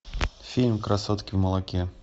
фильм красотки в молоке